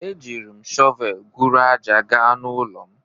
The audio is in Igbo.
E jim shovelu guru aja gaa na ụlọ'm.